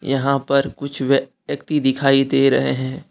यहां पर कुछ व्यक्ति दिखाई दे रहे है।